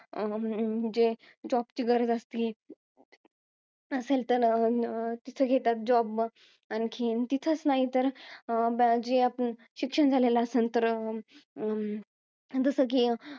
म्हणजे, job ची गरज असती. असेल तर अह तिथे घेतात job मग. आणखीन तिथंच नाही तर, अं ब~ जे, शिक्षण झालेलं असल तर अं जसं कि,